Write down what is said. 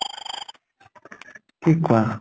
কি কোৱা?